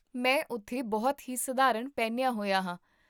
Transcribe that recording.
ਮੈਂ ਉੱਥੇ ਬਹੁਤ ਹੀ ਸਧਾਰਨ ਪਹਿਨਿਆ ਹੋਇਆ ਹਾਂ